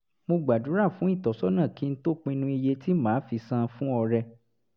mo gbàdúrà fún ìtọ́sọ́nà kí n tó pinnu iye tí màá fi san fún ọrẹ